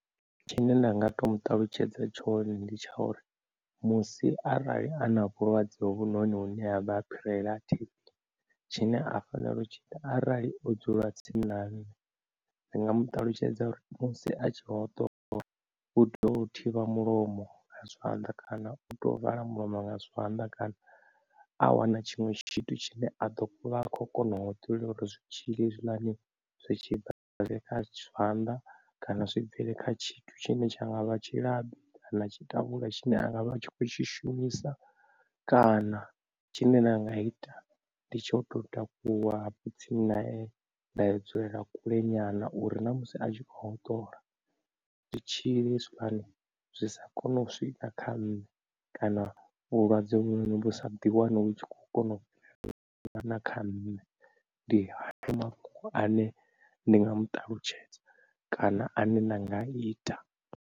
Tshine nda nga to muṱalutshedza tshone ndi tsha uri musi arali ana vhulwadze hovhu noni hune havha phirela ha T_B, tshine a fanela u tshi ita arali o dzula tsini na nṋe. Ndi nga mu ṱalutshedza uri musi a tshi hoṱola u tea u thivha mulomo nga zwanḓa kana u to vala mulomo nga zwanḓa kana a wana tshiṅwe tshithu tshine a ḓo vha a kho kona u hoṱola uri zwitzhili hezwi ḽani zwi tshi bva zwiye kha zwanḓa kana zwi bvele kha tshithu tshine tsha nga vha tshilabi kana tshitavhula tshine a nga vha a tshi khou tshi shumisa, kana tshine nda nga ita ndi tsho tou takuwa hafho tsini na eṋe nda dzulela kule nyana uri na musi a tshi kho hoṱola zwitzhili hezwi ḽani zwi sa kona u swika kha nṋe, kana vhulwadze hovhu vhu sa ḓi wane vhu tshi kho kona u fhira na kha nne ndi hayo mafhungo ane ndi nga mu ṱalutshedza kana ane nda nga ita.